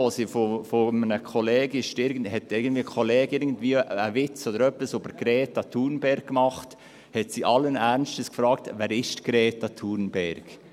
Als während des Pausenkaffees ein Kollege einen Witz über Greta Thunberg machte, habe sie allen Ernstes gefragt: «Wer ist Greta Thunberg?»